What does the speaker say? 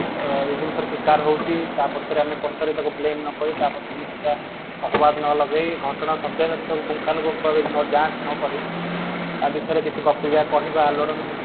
ଅ ଏଇ ଜିନିଷ ର ଶିକାର ହଉଛି ତା ପଛରେ ଆମେ ତାକୁ ପଛରେ blame ନ କରି ତା ପଛରେ କିଛି ଟା ଅପବାଦ ନଲଗେଇ ଘଟଣା ଶବ୍ଦ ର ପୁଙ୍ଖାନୁପୁଙ୍ଖ ଯାଞ୍ଚ ନ କରି ୟା ବିଷୟରେ କିଛି ଗପିବା କହିବା ଲଡନ ସୃଷ୍ଟି କରିବା